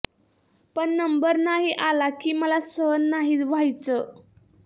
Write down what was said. पण नंबर नाही आला की मला सहन नाही व्हायचे